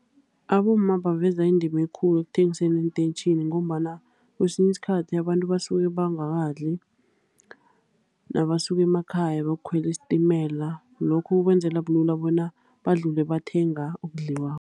Abomma baveza indima ekulu ukuthengiseni eentetjhini, ngombana kwesinye iskhathi abantu basuke bangadli nabasuka emakhaya bayokukhwela isitimela. Lokho kwenzela kube lula bona budlule bathenga okudliwako.